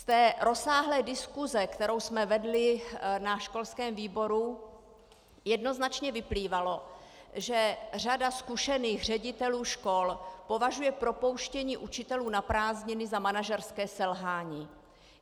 Z té rozsáhlé diskuse, kterou jsme vedli na školském výboru, jednoznačně vyplývalo, že řada zkušených ředitelů škol považuje propouštění učitelů na prázdniny za manažerské selhání.